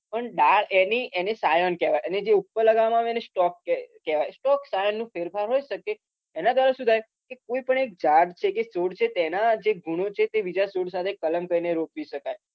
પણ ડાળ એની એને scion કહેવાય અને જે ઉપર લગાવવામાં આવે એને stock ક કહેવાય stock scion નો ફેરફાર હોઈ શકે એના દ્વારા શું થાય કે કોઈપણ એક ઝાડ છે કે છોડ છે તેના જે ગુણો છે તે બીજા છોડ સાથે કલમ કરીને રોપી શકાય